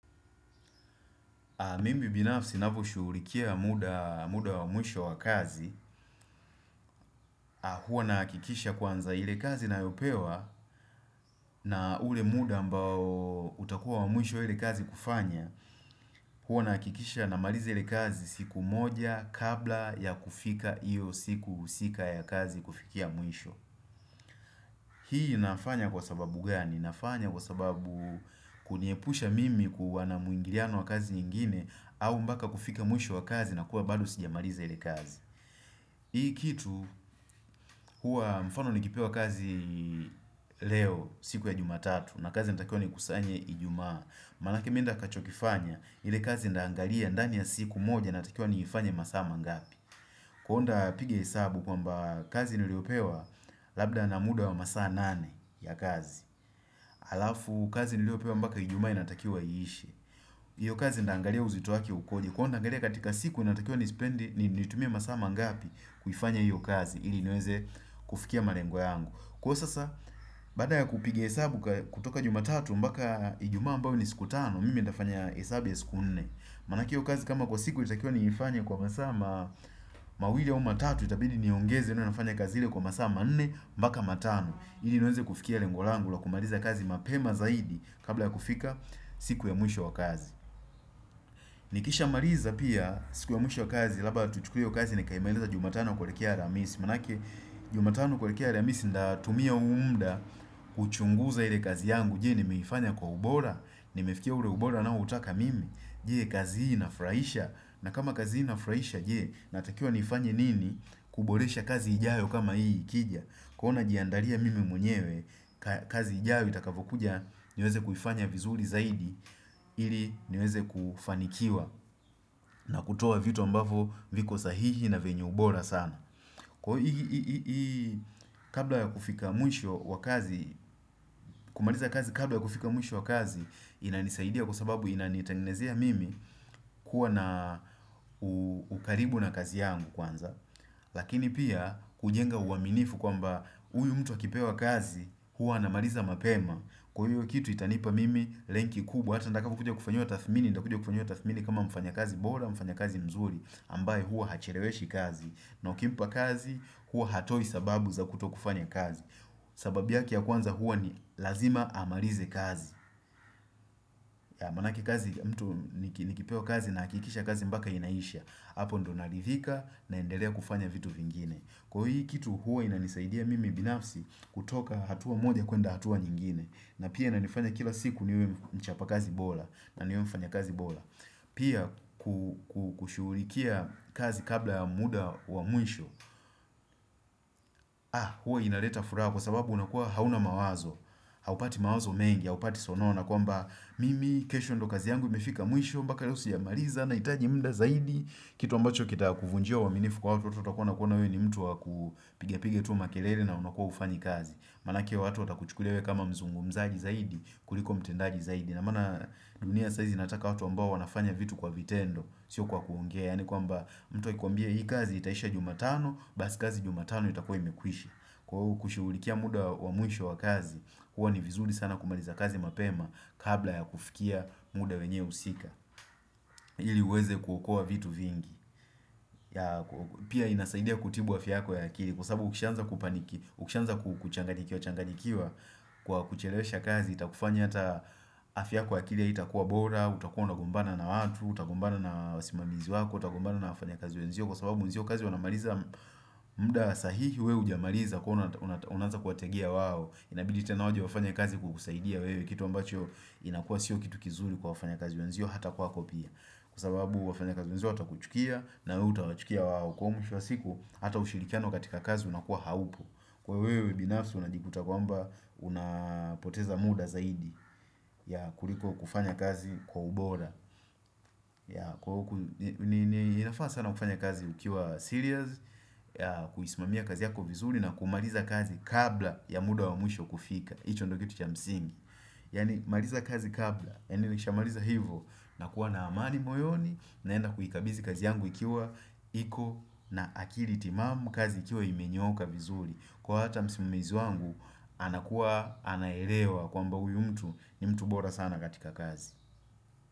Mimi binafsi navyoshughulikia muda wa mwisho wa kazi, hua nahakikisha kwanza ile kazi nayopewa na ule muda ambao utakuwa wa mwisho ili kazi kufanya, hua nahakikisha namaliza ile kazi siku moja kabla ya kufika iyo usiku sika ya kazi kufikia mwisho. Hii nafanya kwa sababu gani, nafanya kwa sababu kuniepusha mimi kuwa na mwingiriano wa kazi nyingine au mpaka kufika mwisho wa kazi na kuwa bado sijamariza ile kazi Hii kitu huwa mfano nikipewa kazi leo siku ya jumatatu na kazi natakiwa nikusanya ijumaa Maanake mimi ntakachokifanya ile kazi ntaangalia ndani ya siku moja natakiwa niifanya masaa mangapi Kuonda piga hesabu kwamba kazi niliopewa labda na muda wa masaa nane ya kazi. Alafu, kazi niliopewa mpaka iijuma inatakiwa iishe. Hiyo kazi ntaangalia uzito wake ukoje. Huwa naangalia katika siku inatakiwa nispendi, nitumie masaa mangapi kufanya hiyo kazi. Ili niweze kufikia malengo yangu. Kua sasa, baada ya kupiga hesabu kutoka jumatatu, mpaka ijumaa ambayo ni siku tano, mimi nitafanya hesabu ya siku nne. Maanake hio kazi kama kwa siku inatakiwa niifanya kwa masaa ma mawili au matatu, itabidi niongeze tena nafanya kazi ile kwa masaa manne, mpaka matano. Ili niweze kufikia lengo langu. La kumaliza kazi mapema zaidi. Kabla ya kufika siku ya mwisho wa kazi. Nikishamaliza pia siku ya mwisho wa kazi. Labda tuchukue hio kazi. Nikaimalize jumatano kuelekea aramisi. Maanake, jumatano kuelekea aramisi. Nitatumia huu muda. Kuchunguza ile kazi yangu. Je, nimeifanya kwa ubora. Nimefikia ule ubora naoutaka mimi. Je, kazi hii inafurahisha. Na kama kazi hii nafraisha, jee. Natakia nifanye nini? Kuboresha kazi ijayo kama hii ikija kuwa najiandaria mimi mwenyewe kazi ijayo itakapokuja niweze kuifanya vizuri zaidi ili niweze kufanikiwa na kutoa vitu ambavo viko sahihi na vyenye ubora sana kwa ii kabla ya kufika mwisho kumaliza kazi kabla ya kufika mwisho wa kazi inanisaidia kwa sababu inanitangenezea mimi kuwa na ukaribu na kazi yangu kwanza Lakini pia kujenga uaminifu kwamba huyu mtu akipewa kazi hua anamaliza mapema Kwa hiyo kitu itanipa mimi lenki kubwa Hata nataka kukuja kufanyiwa tathmini kama mfanyakazi bora mfanyakazi mzuri ambaye hua hacheleweshi kazi na ukimpa kazi hua hatoi sababu za kutokufanya kazi sababu yake ya kwanza hua ni lazima amalize kazi Maanake kazi mtu ya mtu nikipewa kazi nahakikisha kazi mpaka inaisha hApo ndo naridhika naendelea kufanya vitu vingine Kwa hii kitu huo inanisaidia mimi binafsi kutoka hatua moja kuenda hatua nyingine na pia inanifanya kila siku niwe mchapa kazi bora na niwe mfanyakazi bora Pia kushughulikia kazi kabla muda wa mwisho huo inaleta fura kwa sababu unakuwa hauna mawazo Haupati mawazo mengi haupati sonona kwamba mimi kesho ndo kazi yangu imefika mwisho mpaka leo sijamaliza nahitaji muda zaidi Kitu ambacho kitakuvunjia uaminifu kwa hawa waToto watakua wanakuona we ni mtu wakupiga-piga tu makelele na unakua hufanyi kazi. Maanake watu watakuchukulia wewe kama mzungumzaji zaidi, kuliko mtendaji zaidi. Na maana dunia sahizi inataka watu ambao wanafanya vitu kwa vitendo. Sio kwa kuongea, yaani kwamba mtu akikuambia hii kazi itaisha jumatano, basi kazi jumatano itakua imekwishi. Kwa uku kushughulikia muda wa mwisho wa kazi, huwa ni vizuri sana kumaliza kazi mapema kabla ya kufikia muda wenye husika. Ili uweze kuokoa vitu vingi. Pia inasaidia kutibu afya yako ya akili Kwa sababu ukishaanza kuchanganyikiwachanganyikiwa Kwa kuchelewesha kazi Itakufanya hata afya yako ya akili haitakua bora utakua unagombana na watu Utagombana na wasimamizi wako Utagombana na wafanyakazi wenzio Kwa sababu wenzio kazi wanamaliza muda sahihi we hujamaliza Kwa unaanza kuwategea wao Inabidi tena waje wafanyae kazi kukusaidia wewe Kitu ambacho inakua sio kitu kizuri Kwa wafanyakazi wenzio hata kwa kwako pia Kwa sababu wafanyakazi wenzio watakuchukia na wewe utawachukia wao kwa mwisho wa siku Hata ushirikiano katika kazi unakuwa haupo Kwa wewe binafsi unajikuta kwamba Unapoteza muda zaidi ya kuliko kufanya kazi kwa ubora ya kwa huku inafana sana kufanya kazi ukiwa serious Kuisimamia kazi yako vizuri na kumaliza kazi kabla ya muda wa mwisho kufika hIcho ndo kitu ya msingi Yaani maliza kazi kabla Eni nishamaliza hivo nakuwa na amani moyoni naenda kuhikabizi kazi yangu ikiwa iko na akili timamu kazi ikiwa imenyoka vizurii kuwa hata msimamizi wangu anakuwa anaelewa kwamba uyu mtu ni mtu bora sana katika kazi.